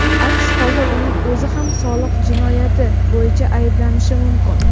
aks holda uning o‘zi ham soliq jinoyati bo‘yicha ayblanishi mumkin.